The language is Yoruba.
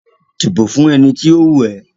Dìbò fún ẹni tí ó wù ẹ́!